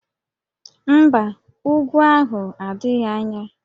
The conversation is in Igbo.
Mba, úgwú ahụ adịghị anya